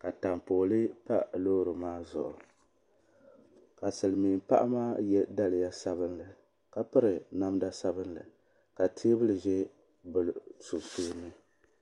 ka taapooli pa loori maa zuɣu ka Silimiin paɣa maa ye daliya sabinli ka piri namda sabinli ka teebuli be bɛ sunsuuni.